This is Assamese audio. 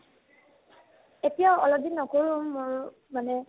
এতিয়া অলপদিন নকৰো ময়ো মানে